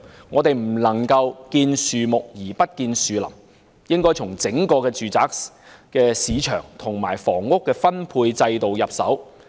我們不可"見樹不見林"，應該從整個住宅市場及房屋分配制度着手。